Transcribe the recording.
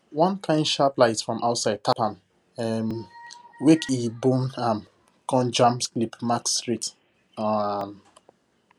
one kain sharp light from outside tap am um wake e bone am con jam sleep mask straight um